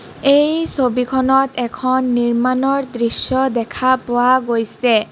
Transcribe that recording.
এই ছবিখনত এখন নিৰ্মাণৰ দৃশ্য দেখা পোৱা গৈছে.